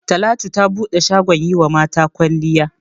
Talatu ta bude shagon yi wa mata kwalliya.